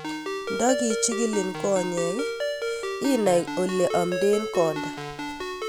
Nda kichig'ilin konyek inai ole amden konda